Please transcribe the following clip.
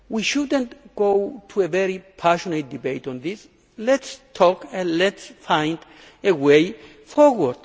We should not have a very passionate debate on this let us talk and let us find a way forward!